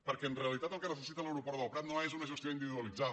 perquè en realitat el que necessita l’aeroport del prat no és una gestió individualitzada